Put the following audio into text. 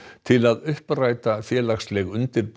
til að uppræta félagsleg undirboð